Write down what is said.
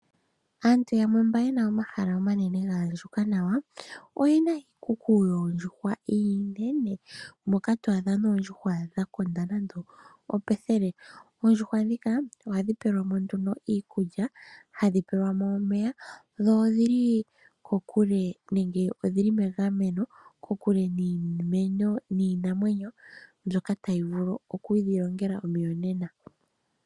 Aantu yamwe mba yena omahala omanene gaandjuka nawa oyena iikuku yoondjuhwa iinene, moka to adha mo muna noondjuhwa dha konda nande opethele. Oondjuhwa ndhika ohadhi pelwa mo nduno iikulya, hadhi pelwa mo omeya dho odhili kokule nenge odhili megameno, kokule niinamwenyo mbyoka tayi vulu okudhi longela omuyonena.